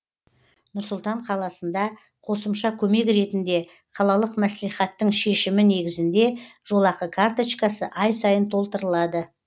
нұр сұлтан қаласында қосымша көмек ретінде қалалық мәслихаттың шешімі негізінде жолақы карточкасы ай сайын толтырылады